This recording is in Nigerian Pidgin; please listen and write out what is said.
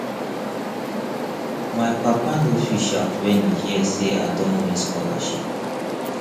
my papa no fit shout wen e hear sey i don win scholarship